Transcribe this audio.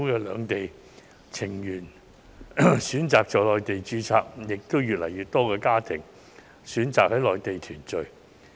兩地情緣選擇在內地註冊的，為數也不少，而且越來越多中港家庭選擇在內地團聚。